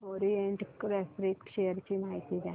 Orient refract share ची माहिती द्या